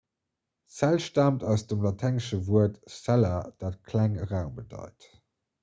zell staamt aus dem laténgesche wuert 'cella' dat klenge raum bedeit